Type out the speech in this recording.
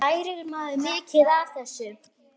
Lærir maður mikið á þessu?